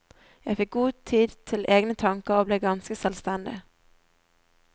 Jeg fikk god tid til egne tanker og ble ganske selvstendig.